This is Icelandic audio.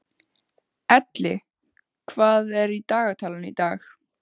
Elli, hvað er í dagatalinu í dag?